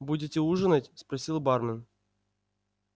будете ужинать спросил бармен